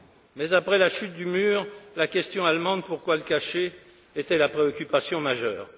Mais après la chute du mur, la question allemande, pourquoi le cacher, était la préoccupation majeure.